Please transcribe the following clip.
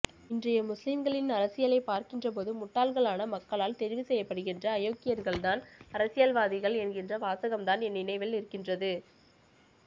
இன்றைய முஸ்லிம்களின் அரசியலை பார்க்கின்றபோது முட்டாள்களான மக்களால் தெரிவு செய்யப்படுகின்ற அயோக்கியர்கள்தான் அரசியல்வாதிகள் என்கிற வாசகம்தான் என் நினைவில் நிற்கின்றது